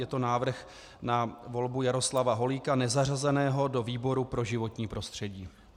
Je to návrh na volbu Jaroslava Holíka, nezařazeného, do výboru pro životní prostředí.